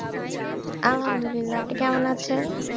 আলহামদুলিল্লাহ! আপনি কেমন আছেন?